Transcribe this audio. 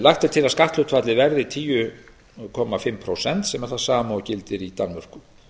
lagt er til að skatthlutfallið verði tíu komma fimm prósent sem er það sama og gildir í danmörku